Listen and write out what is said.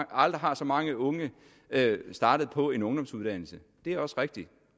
aldrig har så mange unge startet på en ungdomsuddannelse det er også rigtigt